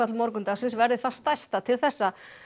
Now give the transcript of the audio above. morgundagsins verði það stærsta til þessa